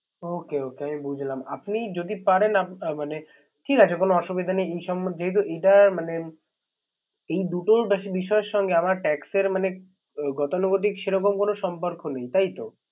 Okay okay আমি বুঝলাম। আপনি যদি পারেন। আপনার মানে। ঠিক আছে, কোন অসুবিধা নাই। এ দুটো বিষয়ের সংগে আমার Tax এর মানে গতানুগতিক সে রকম কোন সম্পর্ক নেই